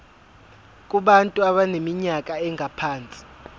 kubantu abaneminyaka engaphansi